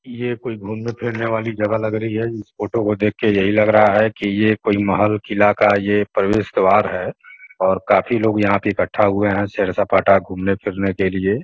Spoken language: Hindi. ये कोई घुमने-फिरने वाली जगह लग रही है। इस फोटो को देख के यहीं लग रहा है कि ये कोई महल किला का ये प्रवेश द्वार है और काफ़ी लोग यहाँ पे इकट्ठा हुए हैं सैर-सपाटा घुमने-फिरने के लिए --